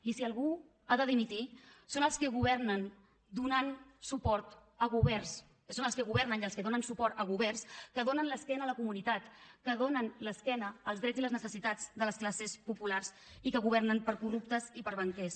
i si algú ha de dimitir són els que governen i els que donen suport a governs que donen l’esquena a la comunitat que donen l’esquena als drets i les necessitats de les classes populars i que governen per a corruptes i per a banquers